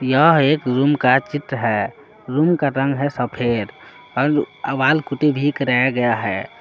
यह एक रूम का चित्र है रूम का रंग है सफेद और वॉल पुट्टी भी कराया गया है।